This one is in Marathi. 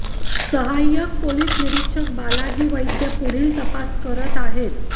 सहाय्यक पोलिस निरीक्षक बालाजी वैद्य पूढील तपास करत आहे